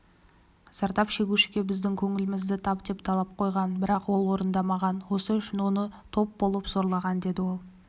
зардап шегушіге біздің көңілімізді тап деп талап қойған бірақ ол орындамаған осы үшін оны топ болып зорлаған деді ол